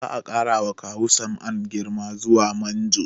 Za a ƙara wa Kawu Sam'an girma zuwa manjo